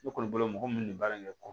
Ne kɔni bolo mɔgɔ min bɛ baara in kɛ